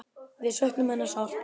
Við söknum hennar sárt.